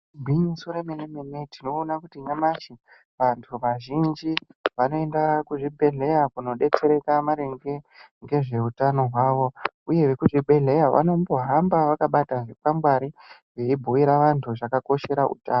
Igwiniso remene-mene tinoona kuti nyamashi vantu vazhinji vanoenda kuzvibhehleya kunodetsereka maringe ngezveutano hwavo. Uye vekuzvibhehleya vanombohamba vakabata zvikwangwari veibhuira vantu zvakakoshera utano.